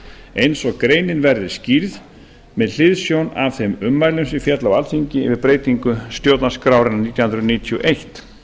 eins og greinin verði skýrð með hliðsjón af þeim ummælum sem féllu á alþingi við breytingu stjórnarskrárinnar nítján hundruð níutíu og eitt